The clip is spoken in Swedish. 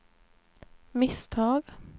misstag